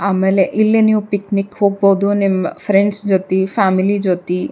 ಆಮೇಲೆ ಇಲ್ಲಿ ನೀವ್ ಪಿಕ್ನಿಕ್ ಹೋಗ್ಬಹುದು ನಿಮ್ ಫ್ರೆಂಡ್ಸ್ ಜೊತೆ ಫ್ಯಾಮಿಲಿ ಜೊತಿ.